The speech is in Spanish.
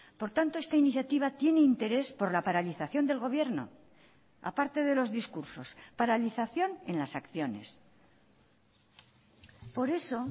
por tanto esta iniciativa tiene interés por la paralización del gobierno a parte de los discursos paralización en las acciones por eso